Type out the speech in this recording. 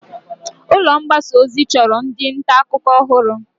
Ulọ mgbasa ozi chọrọ ndị nta akụkọ ọhụrụ.